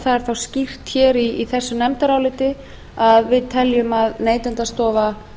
er þá skýrt hér í nefndarálitinu að hún telur að neytendastofa